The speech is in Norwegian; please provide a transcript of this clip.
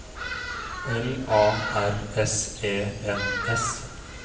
L A R S E N S